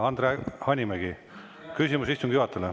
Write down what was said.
Andre Hanimägi, küsimus istungi juhatajale.